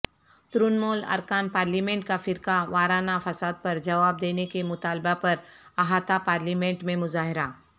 ترنمول ارکان پارلیمنٹ کا فرقہ وارانہ فسادپرجواب دینے کے مطالبہ پر احاطہ پالیمنٹ میں مظاہرہ